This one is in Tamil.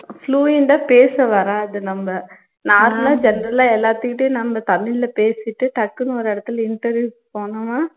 fluent ஆ பேச வராது நம்ப normal ஆ general ஆ எல்லாத்துக்கிட்டையும் நம்ப தமிழ்ல பேசிட்டு டக்குனு ஒரு இடத்துல interview க்கு போனோன்னா